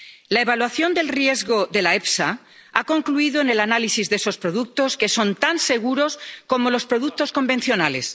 La evaluación del riesgo de la EFSA ha concluido en el análisis de esos productos que son tan seguros como los productos convencionales.